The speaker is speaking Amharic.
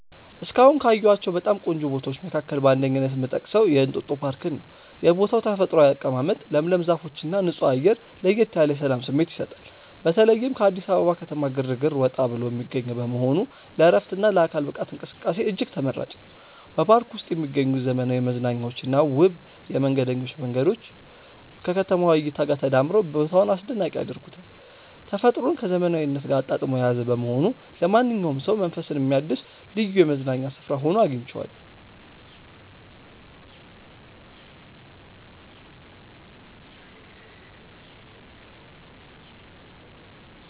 እስካሁን ካየኋቸው በጣም ቆንጆ ቦታዎች መካከል በአንደኝነት የምጠቀሰው የእንጦጦ ፓርክን ነው። የቦታው ተፈጥሯዊ አቀማመጥ፣ ለምለም ዛፎችና ንጹህ አየር ለየት ያለ የሰላም ስሜት ይሰጣል። በተለይም ከአዲስ አበባ ከተማ ግርግር ወጣ ብሎ የሚገኝ በመሆኑ ለዕረፍትና ለአካል ብቃት እንቅስቃሴ እጅግ ተመራጭ ነው። በፓርኩ ውስጥ የሚገኙት ዘመናዊ መዝናኛዎችና ውብ የመንገደኞች መንገዶች ከከተማዋ እይታ ጋር ተዳምረው ቦታውን አስደናቂ ያደርጉታል። ተፈጥሮን ከዘመናዊነት ጋር አጣጥሞ የያዘ በመሆኑ ለማንኛውም ሰው መንፈስን የሚያድስ ልዩ የመዝናኛ ስፍራ ሆኖ አግኝቼዋለሁ።